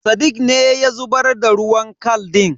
Sadiq ne ya zubar da ruwan kal din.